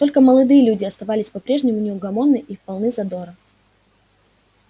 только молодые люди оставались по-прежнему неугомонны и в полны задора